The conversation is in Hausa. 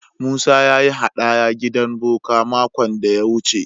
Musa ya yi haɗaya gidan boka makon da ya wuce.